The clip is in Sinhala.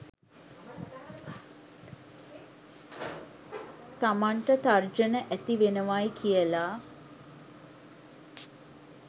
තමන්ට තර්ජන ඇති වෙනවයි කියල.